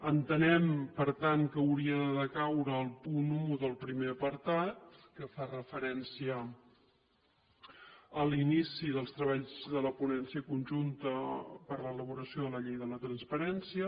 entenem per tant que hauria de decaure el punt un del primer apartat que fa referència a l’inici dels treballs de la ponència conjunta per a l’elaboració de la llei de la transparència